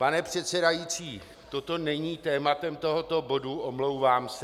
Pane předsedající, toto není tématem tohoto bodu, omlouvám se.